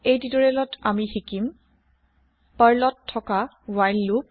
এই তিউতৰিয়েলত আমি শিকিম পাৰ্লত থকা ৱ্হাইল লোপ